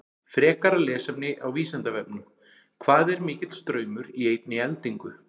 Frekara lesefni á Vísindavefnum: Hvað er mikill straumur í einni eldingu?